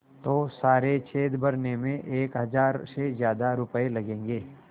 तो सारे छेद भरने में एक हज़ार से ज़्यादा रुपये लगेंगे